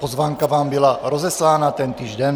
Pozvánka vám byla rozeslána tentýž den.